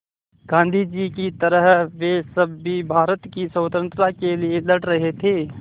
गाँधी जी की तरह वे सब भी भारत की स्वतंत्रता के लिए लड़ रहे थे